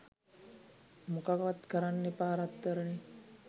මොකවත් කරන්න එපා රත්තරනේ